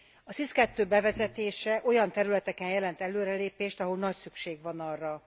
A SIS II bevezetése olyan területeken jelent előrelépést, ahol nagy szükség van arra.